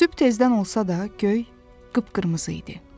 Sübh tezdən olsa da göy qıpqırmızı idi.